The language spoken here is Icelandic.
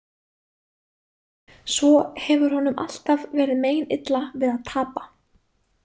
Svo hefur honum alltaf verið meinilla við að tapa.